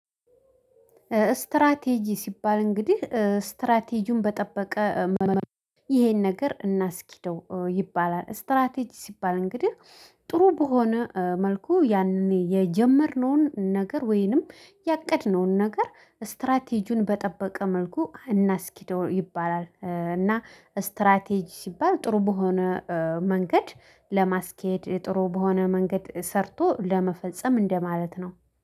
ስትራቴጂ ሲባል እንግዲህ ስትራቴጂውን በጠበቀ ይሄን ነገር እናስኪደው ይባላል ስትራቴጂ ሲባል እንግዲህ ጥሩ በሆነ መልኩ ያኔ የጀመርነውን ነገር ወይንም ያቀድነውን ነገር ስትራቴጁን በጠበቀ መልኩ እናስኪደው ይባላል። እና ስትራቴጂ ሲባል ጥሩ በሆነ መንገድ ለማስኬድ ጥሩ በሆነ መንገድ ሰርቶ ለመፈጸም እንደማለት ነው